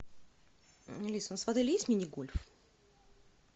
алиса у нас отеле есть мини гольф